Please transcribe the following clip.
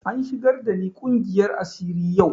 An shigar da ni ƙungiyar asiri yau